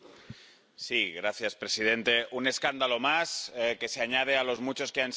Señor presidente, un escándalo más que se añade a los muchos que han salido.